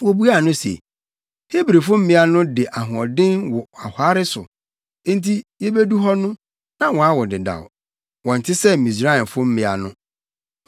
Wobuaa no se, “Hebrifo mmea no de ahoɔden wo ɔhare so nti yebedu hɔ no, na wɔawo dedaw. Wɔnte sɛ Misraimfo mmea no.”